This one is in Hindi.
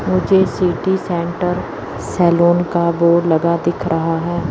मुझे सिटी सेंटर सैलून का बोर्ड लगा दिख रहा है।